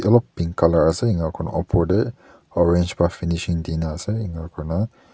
olop pink colour ase enia kuna opor te orange pra finishing nishina ase enia kurina--